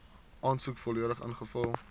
aansoek volledig ingevul